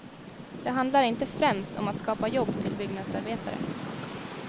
Det handlar inte främst om att skapa jobb till byggnadsarbetare.